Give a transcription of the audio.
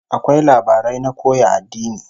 Akwai labarai na koya addini